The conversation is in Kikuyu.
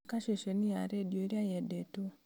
thaaka ceceni ya rĩndiũ ĩrĩa yendetwo